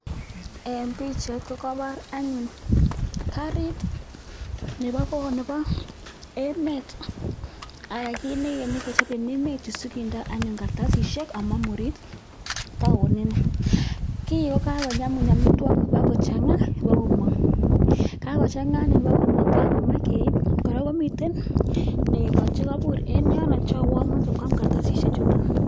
Eng pichait kokaipor anyun kariit nebo emet anan kiit ne ikenyi kechop ing emet sikinda anyun karatasisiek amamurit taonini. Kiiy kakonyamun amitwokik ipokochanga ipokomong, kakochangaa anyun ipokomong, kakeip kora komiten neko chekaipur eng yono ako unee machei kwaam karatasisiek chutok.